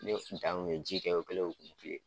Ne kun t'a kun ye ji kɛ o kɛlen k'o to yen